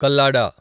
Kallada